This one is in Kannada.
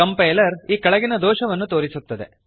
ಕಂಪೈಲರ್ ಈ ಕೆಳಗಿನ ದೋಷವನ್ನು ತೋರಿಸುತ್ತದೆ